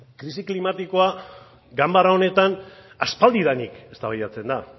krisi klimatikoa ganbara honetan aspaldidanik eztabaidatzen da